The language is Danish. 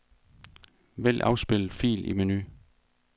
Vælg afspil fil i menu.